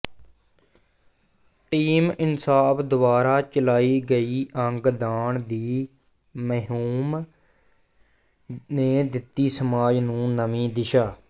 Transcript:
team Insaf ਦੁਆਰਾ ਚਲਾਈ ਗਈ ਅੰਗ ਦਾਨ ਦੀ ਮੁਹਿੰਮ ਨੇ ਦਿੱਤੀ ਸਮਾਜ ਨੂੰ ਨਵੀਂ ਦਿਸ਼ਾ